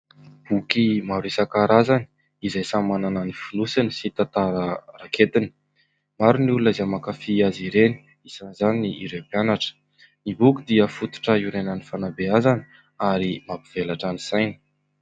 Boky maro isankarazany izay samy manana ny fonosiny sy tantara raketiny. Maro ny olona izay mankafy azy ireny isan' izany ireo mpianatra. Ny boky dia fototra iorenan'ny fanabeazana ary mampivelatra ny saina.